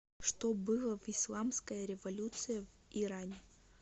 что было в исламская революция в иране